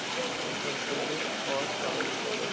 অসম্পূর্ন হওয়ার কারণসহ